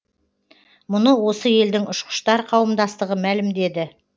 мұны осы елдің ұшқыштар қауымдастығы мәлімдеді